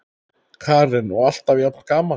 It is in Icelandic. Karen: Og alltaf jafn gaman?